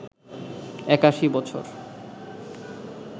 ৮১ বছর